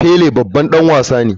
Pele babban dan wasa ne.